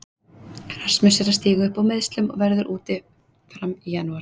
Rasmus er að stíga upp úr meiðslum og verður úti fram í janúar.